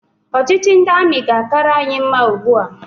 Ọchịchị ndị amị ga-akara anyị mma ugbua